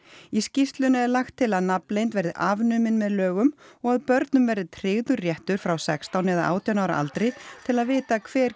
í skýrslunni er lagt til að nafnleynd verði afnumin með lögum og að börnum verði tryggður réttur frá sextán eða átján ára aldri til að vita hver